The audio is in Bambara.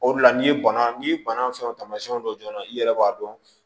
O de la n'i bana n'i banna fɛn taamasiyɛnw dɔ joona i yɛrɛ b'a dɔn